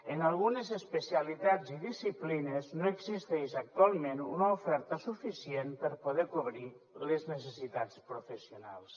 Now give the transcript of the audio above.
en algunes especialitats i disciplines no existeix actualment una oferta suficient per poder cobrir les necessitats professionals